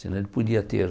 Se não ele podia ter.